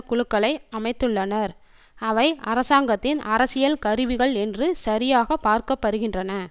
குழுக்களை அமைத்துள்ளனர் அவை அரசாங்கத்தின் அரசியல் கருவிகள் என்று சரியாக பார்க்க படுகின்றன